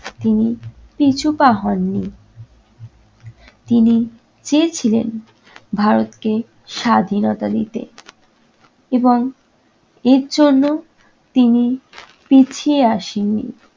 তিনি পিছুপা হননি। তিনি চেয়েছিলেন ভারতকে স্বাধীনতা দিতে এবং এর জন্য তিনি পিছিয়ে আসেননি।